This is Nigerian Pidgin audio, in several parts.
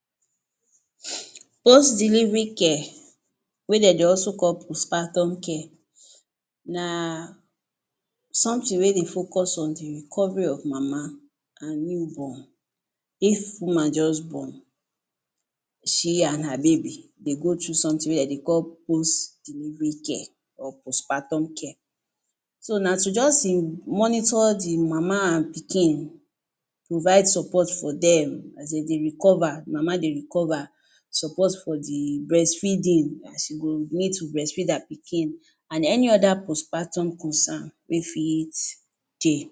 Post delivery care wey de dey also call postpartum care na something wey dey focus on the recovery of mama an newborn. If woman juz born, she an her baby dey go through something wey de dey call post delivery care or postpartum care. So na to juz monitor the mama an pikin, provide support for dem as de dey recover, mama dey recover, support for the breastfeeding, as you go need to breatfeed her pikin, an any other postpartum concern wey fit dey.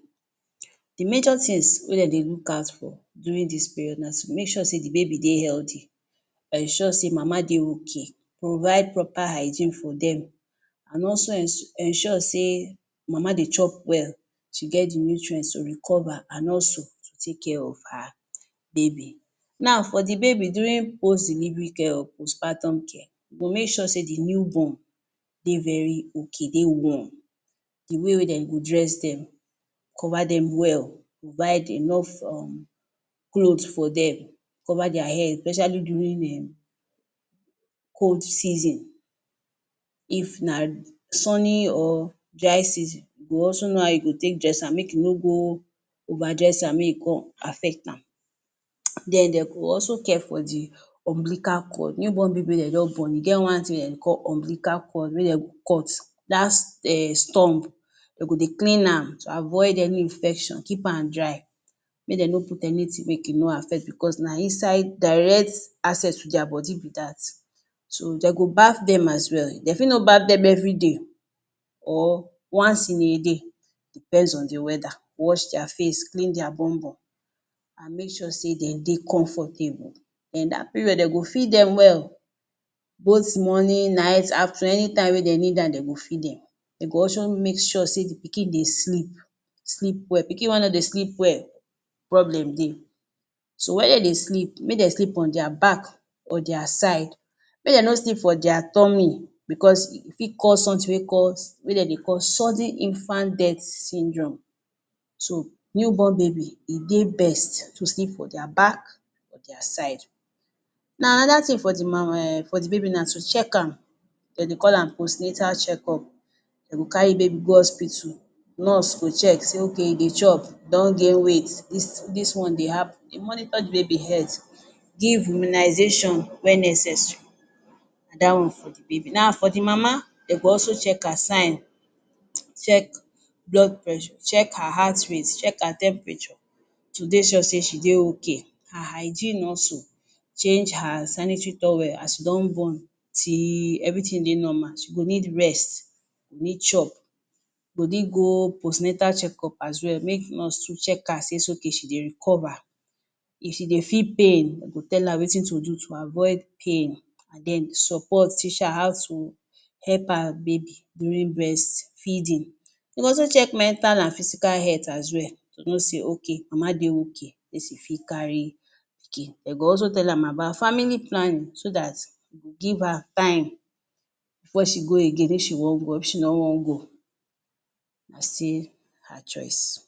The major tins wey de dey look out for during dis period na to make sure sey the baby dey healthy, ensure sey mama dey okay, provide proper hygiene for dem, an also ens ensure sey mama dey chop well, she get the nutrients to recover, an also to take care of her baby. Now, for the baby, during post delivery care or postpartum care, you go make sure sey the newborn dey very okay, dey warm. The way wey dem go dress dem, cover dem well, provide enough um cloth for dem, cover dia head especially during um cold season. If na sunny or dry season, you go also know how you go take dress am make you no go overdress am make e con affect am. [hiss] Then de go also care for the umbilical cord. New born baby wey de jus born, e get one tin wey de call umbilical cord wey de go cut. Dat um stump, de go dey clean am to avoid any infection, keep am dry, make de no put anything make e no affect becos na inside direct access to dia body be dat. So, de go bath dem as well. De fit no bath dem everyday or once in a day depends on the weather. Wash dia face, clean dia bumbum, an make sure sey de dey comfortable. Then dat period, de go feed dem well. Both morning, night, afternoon, anytime wey de need an de go feed dem. De go also make sure sey the pikin dey sleep sleep well. Pikin wey no dey sleep well problem dey. So while de dey sleep, make de sleep on dia back, or dia side. Make de no sleep for dia tummy becos e fit cause something wey cause wey de dey call Sudden Infant Death Syndrome. So, new born baby, e dey best to sleep for dia back, or dia side. Now, another tin for the ma um for the baby na to check am. De dey call am postnatal checkup. De go carry baby go hospital. Nurse go check sey okay, e dey chop, e don gain weight, dis dis one dey. De monitor the baby health, give immunisation wen necessary. Dat one for the baby. Now, for the mama, de go also check her sign, check blood pressure, check her heart rate, check her temperature, to dey sure sey she dey okay. Her hygiene also. Change her sanitary towel as e don born till everything dey normal. She go need rest, go need chop, go need go postnatal checkup as well make nurse too check her says okay she dey recover. If she dey feel pain, de go tell her wetin to do to avoid pain, an then support, teach her how to help her baby during breastfeeding. De go also check mental an physical health as well to know sey okay, mama dey okay fit carry pikin. De go also tell am about family panning so dat e go give her time before she go again if she wan go. If she no wan go, na still her choice.